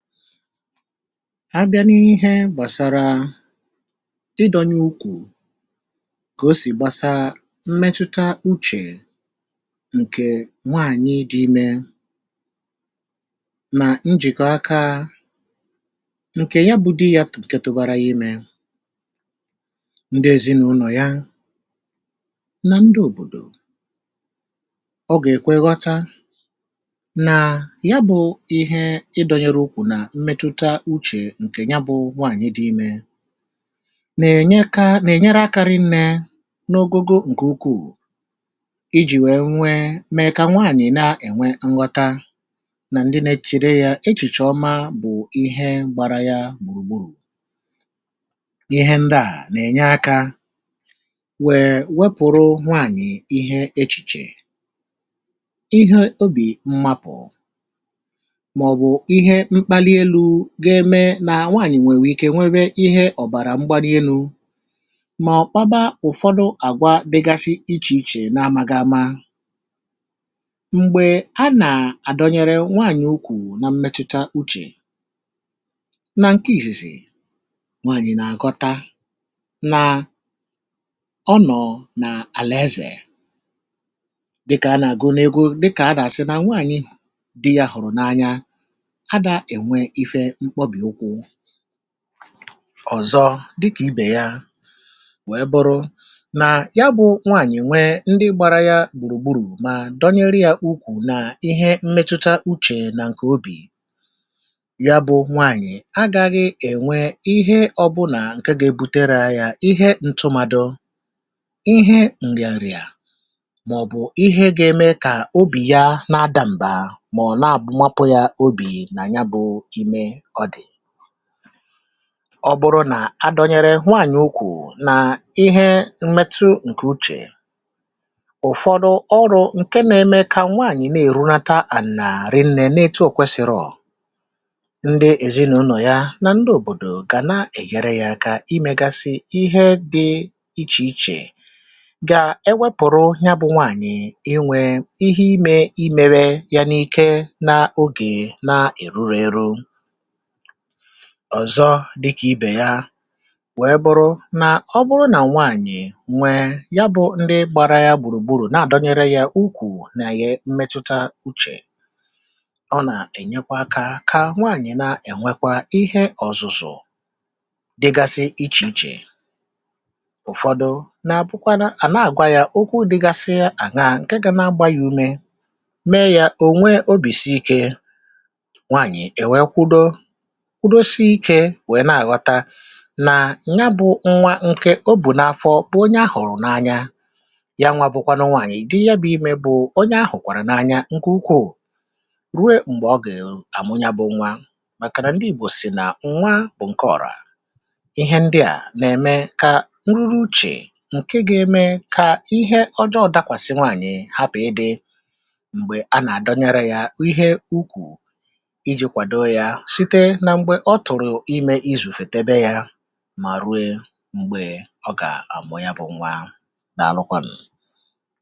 a bịa n’ihe gbàsàrà ịdọ̇nye ukwù, kà o sì gbasaa mmetụta uchè, ǹkè nwaànyị dị ime, nà njìkọ aka ǹkè ya bụ di ya, tụ̀nkè tụ̀bara imė, ndị ezinaụlọ ya nà ndị òbòdò, ọ gà èkweghọta ǹkè ya bụ̇ nwaànyị dị imė, nà-ènye ka nà-ènyere akȧrị nne n’ogogo ǹkè ukwuù ijì, wee nwee mà ya, kà nwaànyị̀ na-ènwe nghọta, nà ndị na-echìche ya echìchì ọma. bụ̀ ihe gbara ya gbùrùgburù, ihe ndị à nà-ènye akȧ wèè wepụ̀rụ nwaànyị̀ ihe echìchè, ihe obì mmapụ̀. na nwaànyị̀ nwèrè ike, nwere ihe ọ̀bàrà mgba n’elu, mà ọ̀kpaba. ụ̀fọdụ àgwa dịgasị ichè ichè n’amȧgamȧ m̀gbè a nà-àdọnyere nwaànyị̀ ukwù, na mmetụta uchè nà nke ìsìsì. nwaànyị̀ na-àgọta na ọnọ̀ nà àlà ezè, dịkà anà go n’ego, dịkà anà àsị nà nwaànyị di yȧ hụ̀rụ̀ n’anya ọ̀zọ, dịkà ibè ya, wee bụrụ nà ya bụ̇ nwaànyị̀ nwee ndị gbara ya gbùrùgburù, maa dọnyere ya ukwù. naa ihe mmetuta uchè nà ǹkè obì ya, bụ̇ nwaànyị̀ agȧghị̇ ènwe ihe ọbụlà ǹke gȧ-ebutereo ya ihe ntụmadụ̇, ihe ǹrìàrìà, màọ̀bụ̀ ihe gȧ-eme kà obì ya na adàmbà, mà ọ̀ na-àbụmapụ ya obì. ọbụrụ nà adọnyere nwanyị ukwù nà ihe mmetụ ǹkè uchè, ụ̀fọdụ ọrụ̇ ǹke na-eme kà nwaànyị̀ na-èrunata ànà rinnė na-etu, òkwesiri ọ̀ ndị èzinàụlọ̀ ya nà ndị òbòdò gà na-èghere yȧ aka, imėgasi ihe dị̇ ichè ichè, gà-ewepùrụ ya bụ̇ nwanyị̀ inwė ihe imė, imėrė ya n’ike n’ogè na-èruru eru. ọ̀zọ dịkà ibè ya wèe bụrụ nà ọ bụrụ nà nwaànyị̀ nwẹ ya bụ̇ ndị gbara ya gbùrùgburù na-àdọnyere ya ukwù, nàghị̇ mmetụta uchè, ọ nà-ènyekwa kà nwaànyị̀ na-ènwekwa ihe ọ̀zụ̀zụ̀ dịgasi ichè ichè. ụ̀fọdụ nàbụkwa nà à na-àgwa ya okwu dịgasi à, naa ǹkẹ̀ ga na-agba ya ume, mee ya ò nwee obìsi ike, ụdȯsịikė nwèe na-àghọta nà nya bụ̇ nwa ǹke o bù n’afọ̇, bụ̀ onye ahụ̀rụ̀ n’anya ya. nwa bụkwa n’nwaànyà, ìdi ya bụ̇ imė, bụ̀ onye ahụ̀kwàrà n’anya. ǹkè ukwuù ruwe m̀gbè ọ gà èlu àmụ, nya bụ̇ nwa, màkà nà ndị ìgbò sì nà nwa bụ̀ ǹke ọ̀rọ̀. ihe ndị à nà-ème kà nruru uchè, ǹke gà-eme kà ihe ọjọọ̇ dakwàsị nwaànyị̀, hapụ̀ ịdị̇ m̀gbè a nà-àdọnyere yȧ ihe ukwù. ọ tụ̀rụ̀ imė, izùfètèbe yȧ, mà ruo m̀gbè ọ gà-àmụ yȧ bụ̀ nwa. dàalụkwanụ̀.